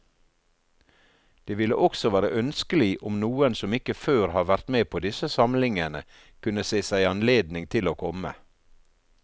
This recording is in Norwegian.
Det ville også være ønskelig om noen som ikke før har vært med på disse samlingene, kunne se seg anledning til å komme.